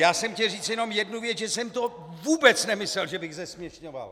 Já jsem chtěl říct jenom jednu věc, že jsem to vůbec nemyslel, že bych zesměšňoval.